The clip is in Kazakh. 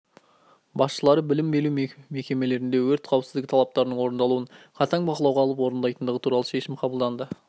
басшылары білім беру мекемелерінде өрт қауіпсіздігі талаптарының орындалуын қатаң бақылауға алып орындайтындығы туралы шешім қабылданды